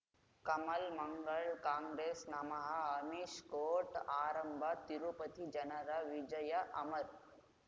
ಕಮಲ್ ಮಂಗಳ್ ಕಾಂಗ್ರೆಸ್ ನಮಃ ಅಮಿಷ್ ಕೋರ್ಟ್ ಆರಂಭ ತಿರುಪತಿ ಜನರ ವಿಜಯ ಅಮರ್